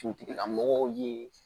Dugutigilamɔgɔw ye